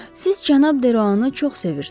Siz cənab Deroanı çox sevirsiz?